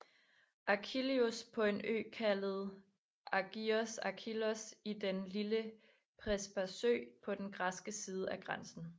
Achillios på en ø kaldet Agios Achillios i Den lille Prespasø på den græske side af grænsen